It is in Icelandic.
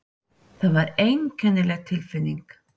Það var einkennileg tilfinning.